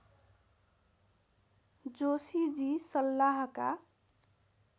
Joshiji सल्लाहका